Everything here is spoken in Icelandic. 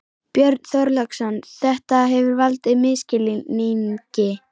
Björn Þorláksson: Þetta hefur valdið misskilningi?